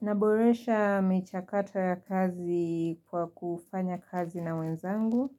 Naboresha michakato ya kazi kwa kufanya kazi na wenzangu,